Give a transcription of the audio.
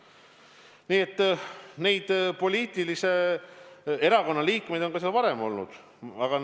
Nii et poliitilise taustaga liikmeid on seal olnud ka varem.